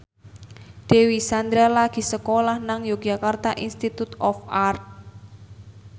Dewi Sandra lagi sekolah nang Yogyakarta Institute of Art